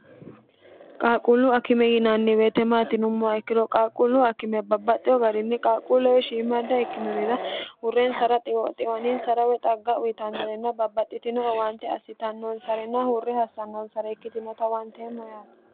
qaaqquulluu akime yinaanni weete maati yinummoa ikkiro qaalqquulluu akime babbaxxiho garinni qaalqquuleho shiima da ikkinorira huurrensara xiwooxiwaninsarawe xagga uyitannorenna babbaxxitinoo wante assitannoonsarenna huurre hassannoonsare ikkitinota hiwanteemmo yaati